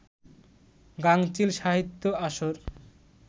গাঙচিল সাহিত্য আসর